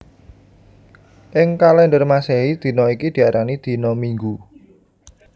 Ing kalèndher Masèhi dina iki diarani dina Minggu